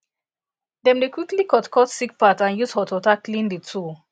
dem dey quickly cut cut sick part and use hot water clean the tool